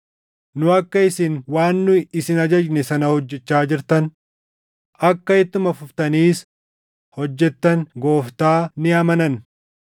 Nu akka isin waan nu isin ajajne sana hojjechaa jirtan, akka ittuma fuftaniis hojjetan Gooftaa ni amananna.